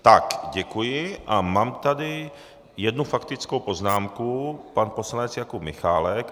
Tak, děkuji a mám tady jednu faktickou poznámku, pan poslanec Jakub Michálek.